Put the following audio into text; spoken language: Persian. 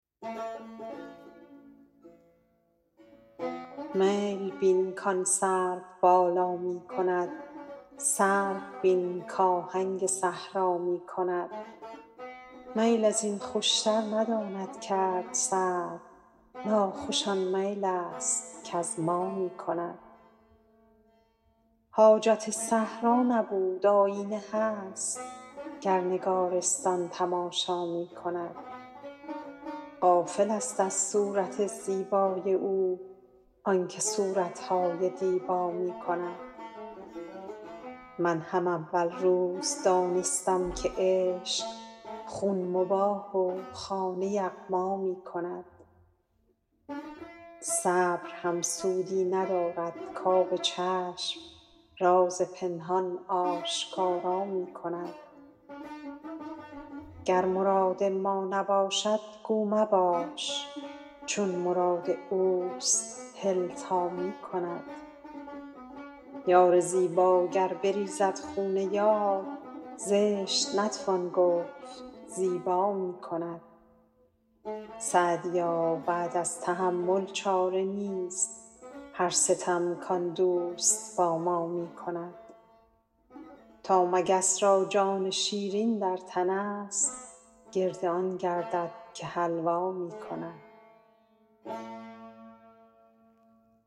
میل بین کآن سروبالا می کند سرو بین کآهنگ صحرا می کند میل از این خوشتر نداند کرد سرو ناخوش آن میل است کز ما می کند حاجت صحرا نبود آیینه هست گر نگارستان تماشا می کند غافلست از صورت زیبای او آن که صورت های دیبا می کند من هم اول روز دانستم که عشق خون مباح و خانه یغما می کند صبر هم سودی ندارد کآب چشم راز پنهان آشکارا می کند گر مراد ما نباشد گو مباش چون مراد اوست هل تا می کند یار زیبا گر بریزد خون یار زشت نتوان گفت زیبا می کند سعدیا بعد از تحمل چاره نیست هر ستم کآن دوست با ما می کند تا مگس را جان شیرین در تنست گرد آن گردد که حلوا می کند